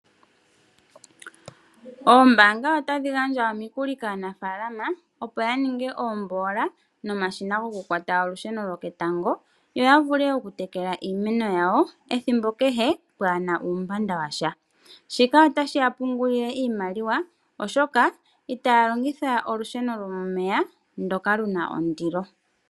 Oombanga otadhi gandja omikuli kaanafalama opo ya ninge oombola nomashina gokukwata olusheno loketango, yo ya vule okutekela iimeno yawo ethimbo kehe pwaana uumbanda washa. Shika otashi ya pungulile iimaliwa oshoka itaya longitha olusheno lomeya ndoka luna ondilo.